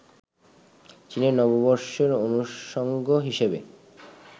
চীনের নববর্ষের অনুষঙ্গ হিসেবে